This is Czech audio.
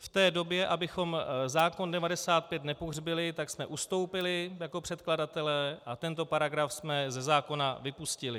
V té době, abychom zákon 95 nepohřbili, tak jsme ustoupili jako předkladatelé a tento paragraf jsme ze zákona vypustili.